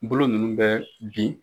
Bolo ninnu bɛ bin